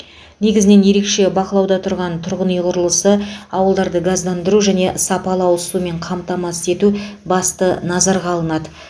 негізінен ерекше бақылауда тұрған тұрғын үй құрылысы ауылдарды газдандыру және сапалы ауызсумен қамтамасыз ету басты назарға алынады